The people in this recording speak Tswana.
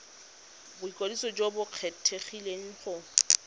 boikwadiso jo bo kgethegileng go